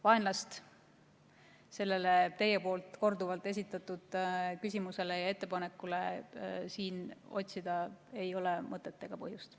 Vaenlast sellele teie poolt korduvalt esitatud küsimusele ja ettepanekule siin otsida ei ole mõtet ega põhjust.